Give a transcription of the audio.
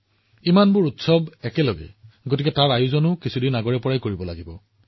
যেতিয়া ইমানবোৰ উৎসৱ একেলগে অনুষ্ঠিত হয় ইয়াৰে প্ৰস্তুতিও বহু আগতে আৰম্ভ হয়